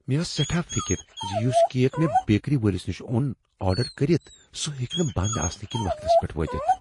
مےٚ ٲس سیٹھاہ فکر زِ یُس کیک مےٚ بیکری وٲلِس نِش اوٚن آرڈر کٔرِتھ سُہ ہیٚکہِ نہٕ بنٛد آسنہٕ کنۍ وقتس پیٹھ وٲتتھ۔